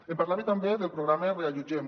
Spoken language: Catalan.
em parlava també del programa reallotgem